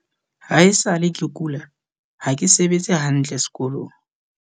"Haesale ke kula, ha ke sebetse hantle sekolong."